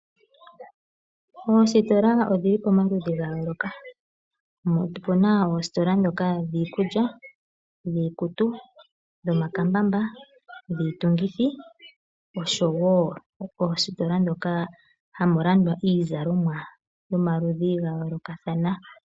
Oositola odhili pomaludhi gayooloka opena oositola dhoka dhiikulya, dhiikutu, dhomakambamba, dhiitungitho osho woo oositola dhoka hamu landwa iizalomwa yomaludhi gayoolokathana.